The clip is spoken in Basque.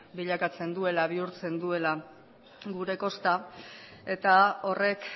bihurtzen duela gure kosta eta horrek